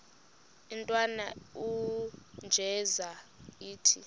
intwana unjeza ithi